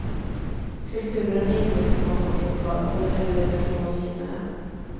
Kulturen är inget som man får från födseln eller från generna.